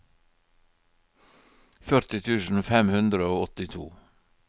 førti tusen fem hundre og åttito